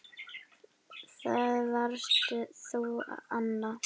Það varst þú, Anna.